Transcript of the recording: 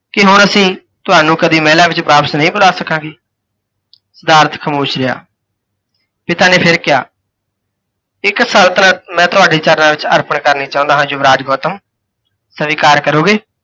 ਕੀ ਹੁਣ ਅਸੀਂ, ਤੁਹਾਨੂੰ ਕਦੀ ਮਹਿਲਾਂ ਵਿੱਚ ਵਾਪਿਸ ਨਹੀਂ ਬੁਲਾ ਸਕਾਂਗੇ? ਸਿਧਾਰਥ ਖਾਮੋਸ਼ ਰਿਹਾ। ਪਿਤਾ ਨੇ ਫਿਰ ਕਿਹਾ, ਇੱਕ ਸਲਤਨਤ ਮੈਂ ਤੁਹਾਡੇ ਚਰਣਾ ਵਿੱਚ ਅਰਪਣ ਕਰਨੀ ਚਾਹੁੰਦਾ ਹਾਂ ਯੁਵਰਾਜ ਗੌਤਮ, ਸਵੀਕਾਰ ਕਰੋਗੇ?